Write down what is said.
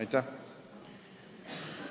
Aitäh!